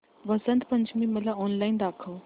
वसंत पंचमी मला ऑनलाइन दाखव